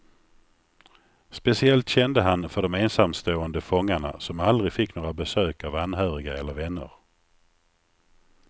Speciellt kände han för de ensamstående fångarna som aldrig fick några besök av anhöriga eller vänner.